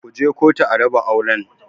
Ku je kotu a raba auren!